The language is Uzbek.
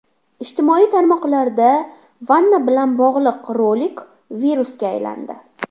Ijtimoiy tarmoqlarda vanna bilan bog‘liq rolik virusga aylandi.